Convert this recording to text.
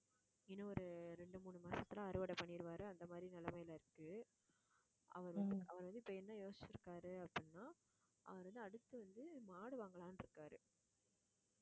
இன்னும் ஒரு ரெண்டு, மூணு மாசத்துல அறுவடை பண்ணிடுவாரு அந்த மாதிரி நிலைமையில இருக்கு அவரு அவரு வந்து இப்ப என்ன யோசிச்சு இருக்காரு அப்படின்னா அவரு வந்து அடுத்து வந்து மாடு வாங்கலாம்னு இருக்காரு